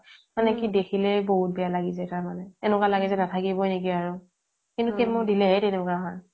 মানে দেখিলেই বহুত বেয়া লাগি যায় মানে এনেকুৱা লাগে যেন নাথাকিবৈ নেকি আৰু কিন্তু chemo দিলেহে তেনেকুৱা হয়